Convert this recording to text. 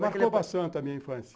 Marcou bastante a minha infância.